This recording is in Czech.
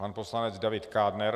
Pan poslanec David Kádner.